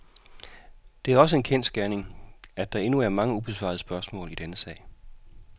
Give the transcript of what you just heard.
Det er også en kendsgerning, at der endnu er mange ubesvarede spørgsmål i denne sag.